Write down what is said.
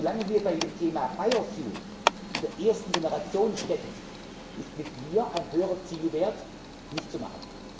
wollen. So lange wir bei dem Thema Biokraftstoff in der ersten Generation stecken, ist mit mir ein höherer Zielwert nicht zu